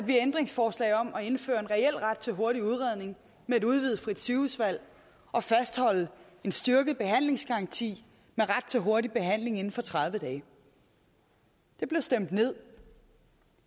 vi ændringsforslag om at indføre en reel ret til hurtig udredning med et udvidet frit sygehusvalg og at fastholde en styrket behandlingsgaranti med ret til hurtig behandling inden for tredive dage det blev stemt ned